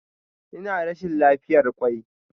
Ina rashin lafiyar kwai.